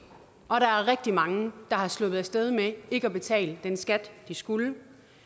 og der er rigtig mange der er sluppet af sted med ikke at betale den skat de skulle